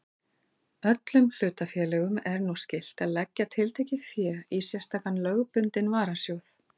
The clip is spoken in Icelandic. Öllum hlutafélögum er nú skylt að leggja tiltekið fé í sérstakan lögbundinn varasjóð.